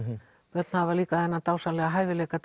börn hafa líka þennan dásamlega eiginleika